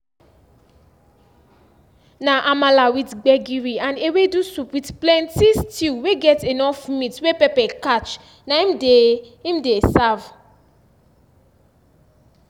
na amala with gbegiri and ewedu soup with plenty stew wey get enough meat wey pepper catch na im dey im dey serve